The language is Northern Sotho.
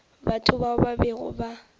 batho bao ba bego ba